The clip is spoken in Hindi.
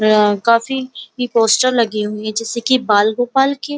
अ काफी ये पोस्टर लगी हुई है जैसे कि बाल गोपाल के --